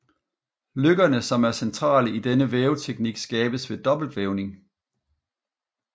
Løkkerne som er centrale i denne væveteknik skabes ved dobbeltvævning